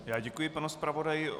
Já děkuji panu zpravodaji.